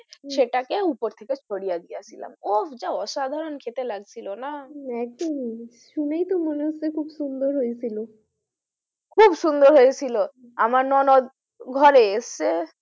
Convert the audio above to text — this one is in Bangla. সেটাকে উপর থেকে ছড়িয়ে দিয়েছিলাম ওহ যা অসাধারণ খেতে লাগছিল না একদমই শুনেই তো মনে হচ্ছে খুব সুন্দর হয়েছিল খুব সুন্দর হয়েছিল আমার ননদ ঘরে এসেছে,